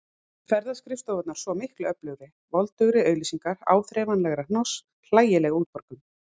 Ferðaskrifstofunnar svo miklu öflugri: voldugri auglýsingar, áþreifanlegra hnoss, hlægileg útborgun.